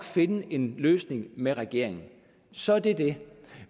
finde en løsning med regeringen så er det dét